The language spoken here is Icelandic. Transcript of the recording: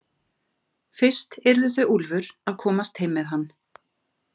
Fyrst yrðu þau Úlfur að komast heim með hann.